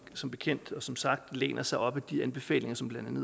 som bekendt som sagt læner sig op ad de anbefalinger som blandt